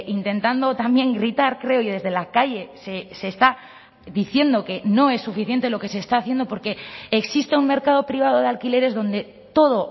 intentando también gritar creo y desde la calle se está diciendo que no es suficiente lo que se está haciendo porque existe un mercado privado de alquileres donde todo